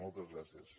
moltes gràcies